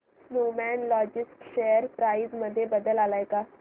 Snowman Logistics share price मध्ये बदल आलाय का